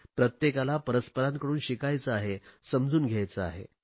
प्रत्येकाला परस्परांकडून शिकायचे आहे समजून घ्यायचे आहे